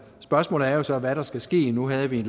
spørgsmålet er jo så hvad der skal ske nu havde vi